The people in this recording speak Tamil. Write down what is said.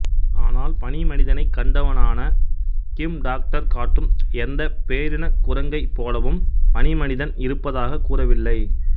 ஆனால் பனி மனிதனை கண்டவனான கிம் டாக்டர் காட்டும் எந்த பேரினக் குரங்கை போலவும் பனிமனிதன் இருப்பதாக கூறவில்லை